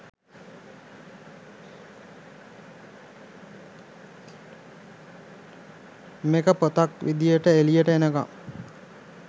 මේක පොතක් විදිහට එලියට එනකම්